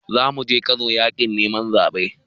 Zamuje kano yakin neman zabe.